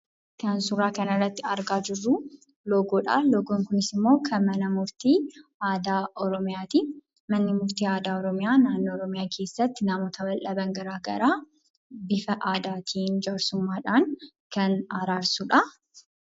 Kan suura kana irratti argaa jirru loogoodha. Loogoon Kunis immoo kan mana murtii aadaa Oromiyaati. Manni murtii aadaa Oromiyaa Oromiyaa keessatti namoota bal'aa gara garaa bifa aadaatiin jaarsummaadhan kan araarsudha.